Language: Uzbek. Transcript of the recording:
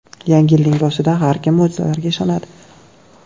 Yangi yilning boshida har kim mo‘jizalarga ishonadi.